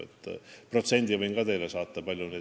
Selle protsendi võin teile ka saata.